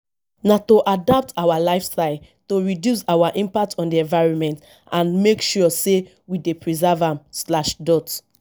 na to adapt our lifestye to reduce our impact on di environment and make sure say we dey preserve am.